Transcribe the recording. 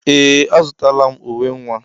Ee! Azụtala m uwe nwa.